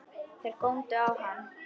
Þeir góndu á hann.